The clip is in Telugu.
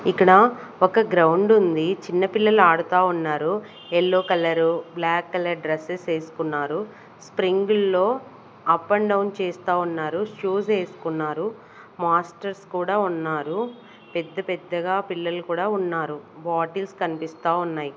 ఇక్కడ ఒక గ్రౌండ్ ఉంది చిన్నపిల్లలు ఆడుతా ఉన్నారు yellow colour black colour dresses వేసుకున్నారు స్ప్రింగుల్లో అప్ అండ్ డౌన్ చేస్తా ఉన్నారు షూస్ వేసుకున్నారు మాస్టర్స్ కూడా ఉన్నారు పెద్ద పెద్దగా పిల్లలు కూడా ఉన్నారు బాటిల్స్ కనిపిస్తా ఉన్నాయి.